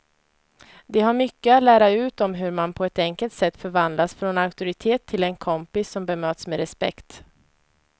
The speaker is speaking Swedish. De har mycket att lära ut om hur man på ett enkelt sätt förvandlas från auktoritet till en kompis som bemöts med respekt.